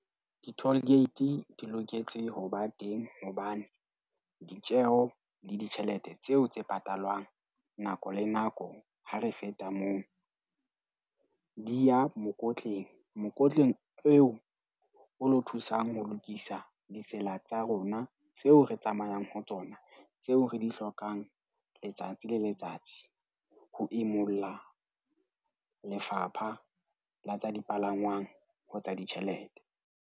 Di-toll gate di loketse ho ba teng hobane ditjeo le ditjhelete tseo tse patalwang nako le nako ha re feta moo, di ya mokotleng. Mokotleng eo o lo thusang ho lokisa ditsela tsa rona tseo re tsamayang ho tsona. Tseo re di hlokang letsatsi le letsatsi ho imulla Lefapha la tsa Dipalangwang ho tsa ditjhelete.